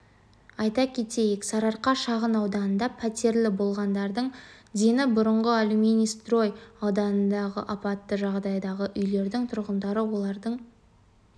айта кетейік сарыарқа шағын ауданында пәтерлі болғандардың дені бұрынғы алюминстрой ауданындағы апатты жағдайдағы үйлердің тұрғындары олардың